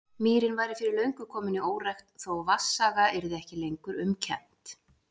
Mýrin væri fyrir löngu komin í órækt, þó vatnsaga yrði ekki lengur um kennt.